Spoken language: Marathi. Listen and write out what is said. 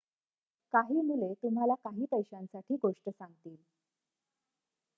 काही मुले तुम्हाला काही पैशांसाठी गोष्ट सांगतील